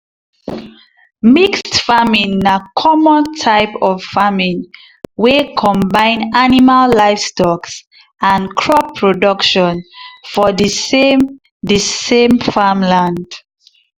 mixed farming na common type of farming wey combine animal livestocks and crop production for the same the same farm land